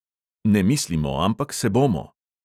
"Ne mislimo, ampak se bomo!"